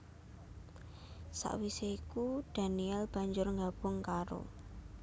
Sawisé iku daniel banjur nggabung karo